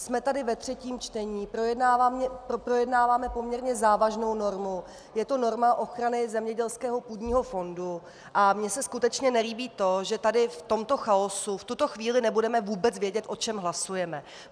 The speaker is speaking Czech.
Jsme tady ve třetím čtení, projednáváme poměrně závažnou normu, je to norma ochrany zemědělského půdního fondu a mně se skutečně nelíbí to, že tady v tomto chaosu v tuto chvíli nebudeme vůbec vědět, o čem hlasujeme.